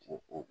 Ko